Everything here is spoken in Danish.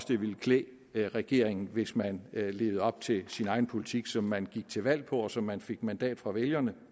det ville klæde regeringen hvis man levede op til sin egen politik som man gik til valg på og som man fik mandat fra vælgerne